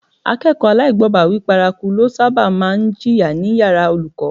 Akẹ́kọ̀ọ́ aláìgbọ́bàwíí paraku ló sábà máa ń jìyà ní yàrá olùkọ́